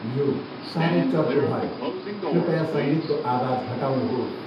यो साह्रै चर्को भयो कृपया सङ्गीतको आवाज घटाउनुहोस्।